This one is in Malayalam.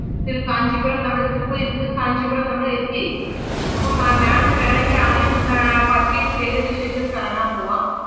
തിര്~ കാഞ്ചീപുരം നമ്മള് തിരുപ്പതിന്ന് കാഞ്ചീപുരം നമ്മള് എത്തിയേക്കും. അപ്പം അഹ് ma'am ന് വേണങ്കി ആദ്യം ഏർ purchase ചെയ്തേനു ശേഷം കറങ്ങാമ്പോവാം.